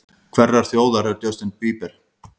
Hverrar þjóðar er Justin Bieber?